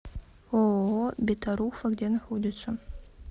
ооо бетаруфа где находится